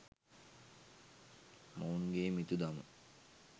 මොවුන්ගේ මිතුදම